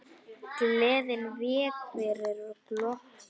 Gleðin vék fyrir glotti.